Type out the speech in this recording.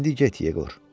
İndi get Yeqor.